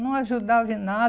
Não ajudava em